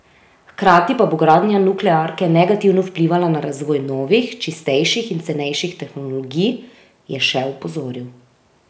Hkrati pa bo gradnja nuklearke negativno vplivala na razvoj novih, čistejših in cenejših tehnologij, je še opozoril.